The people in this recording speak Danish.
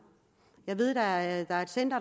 jeg ved at der er et center